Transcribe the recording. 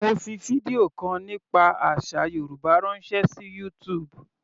Mo fi fídíò kan nípa àsà Yorùbá ránṣẹ́ sí YouTube.